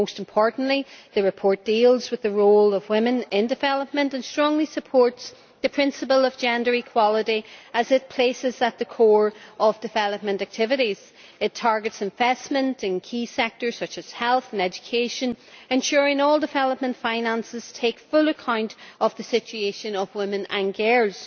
Most importantly, the report deals with the role of women in development and strongly supports the principle of gender equality as it places this at the core of development activities. It targets investment in key sectors such as health and education, ensuring all development finances take full account of the situation of women and girls.